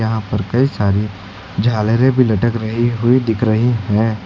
यहां पर कई सारी झालरे भी लटक रही हुई दिख रही है।